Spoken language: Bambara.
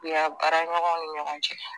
uya baaraɲɔgɔn ni ɲɔgɔn cɛ.